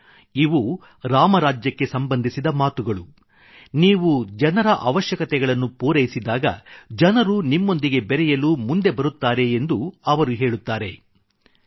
ಇವು ರಾಮರಾಜ್ಯಕ್ಕೆ ಸಂಬಂಧಿಸಿದ ಮಾತುಗಳು ನೀವು ಜನರ ಅವಶ್ಯಕತೆಗಳನ್ನು ಪೂರೈಸಿದಾಗ ಜನರು ನಿಮ್ಮೊಂದಿಗೆ ಬೆರೆಯಲು ಮುಂದೆ ಬರುತ್ತಾರೆ ಎಂದು ಅವರು ಹೇಳುತ್ತಾರೆ